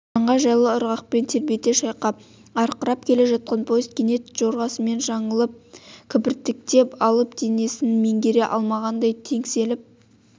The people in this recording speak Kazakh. жанға жайлы ырғақпен тербете шайқап арқырап келе жатқан поезд кенет жорғасынан жаңылып кібіртіктеп алып денесін меңгере алмағандай теңселіп